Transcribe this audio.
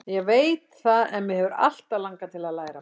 Ég veit það en mig hefur alltaf langað til að læra meira.